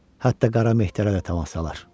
Hətta qara mehdilərə də təmas salır.